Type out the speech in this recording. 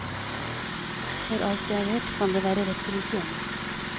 For alt jeg vet kan det være rett rundt hjørnet.